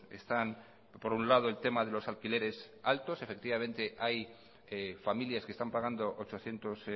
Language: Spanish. están por un lado el tema de los alquileres altos efectivamente hay familias que están pagando ochocientos